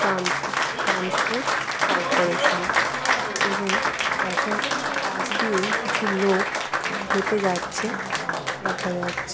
ট্রানপো transport corporation এবং বাসের পাশ দিয়েই কিছু লোক হেঁটে যাচ্ছে দেখা যাচ্ছে।